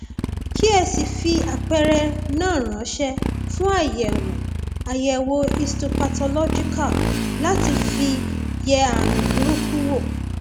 kí ẹ sì fi àpẹẹrẹ náà ránṣẹ fún àyẹwò àyẹwò histopathological láti fi yẹ ààrùn burúkú wò